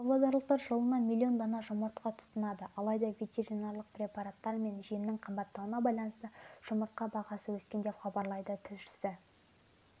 павлодарлықтар жылына миллион дана жұмыртқа тұтынады алайда ветеринарлық препараттар мен жемнің қымбаттауына байланысты жұмыртқа бағасы өскен деп хабарлайды тілшісі